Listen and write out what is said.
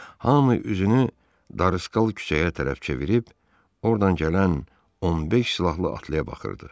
Hamı üzünü darıskal küçəyə tərəf çevirib ordan gələn 15 silahlı atlıya baxırdı.